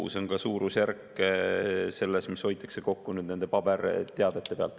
See on ka suurusjärk, mis hoitakse kokku paberteadete pealt.